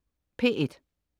P1: